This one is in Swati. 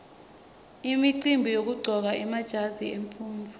imicimbi yekuqcoka emajazi emfundvo